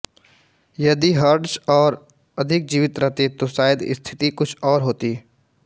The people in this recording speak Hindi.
यदि हर्ट्ज और अधिक जीवित रहते तो शायद स्थिति कुछ और होती